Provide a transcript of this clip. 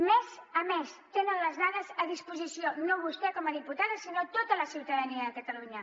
mes a mes tenen les dades a disposició no vostè com a diputada sinó tota la ciutadania de catalunya